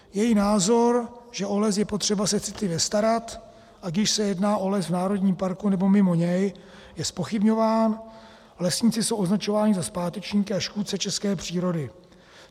Její názor, že o les je potřeba se citlivě starat, ať již se jedná o les v národním parku, nebo mimo něj, je zpochybňován, lesníci jsou označováni za zpátečníky a škůdce české přírody.